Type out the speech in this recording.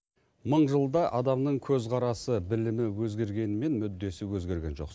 мың жылда адамның көзқарасы білімі өзгергенімен мүддесі өзгерген жоқ